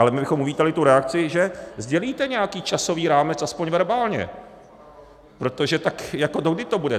Ale my bychom uvítali tu reakci, že sdělíte nějaký časový rámec aspoň verbálně, protože tak jako dokdy to bude?